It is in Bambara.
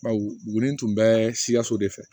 Bawɔnin tun bɛ sikaso de fɛ